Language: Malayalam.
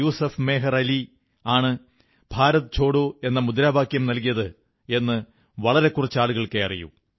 യുസുഫ് മെഹർ അലി ആണ് ഭാരത് ഛോഡോ എന്ന മുദ്രാവാക്യം നല്കിയത് എന്ന് വളരെ കുറച്ച് ആളുകൾക്കേ അറിയൂ